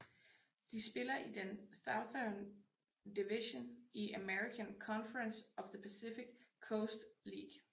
De spiller i den Southern Division i American Conference of the Pacific Coast League